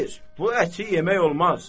Xeyr, bu əti yemək olmaz.